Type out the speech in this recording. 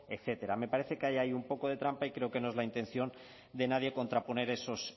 etcétera me parece que hay ahí un poco de trampa y creo que no es la intención de nadie contraponer esos